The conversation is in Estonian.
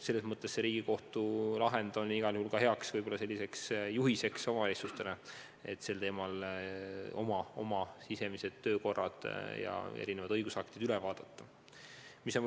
Selles mõttes on too Riigikohtu lahend igal juhul ka hea juhis omavalitsustele, et võiks oma sisemised töökorrad ja muud õigusaktid üle vaadata.